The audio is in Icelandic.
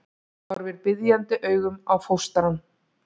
Horfir biðjandi augum á fóstrann.